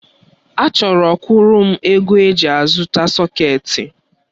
Achọrọ kwuru m ego eji azụta sọketi.